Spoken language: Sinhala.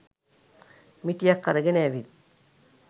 මිටියක් අරගෙන ඇවිත්